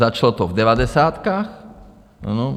Začalo to v devadesátkách.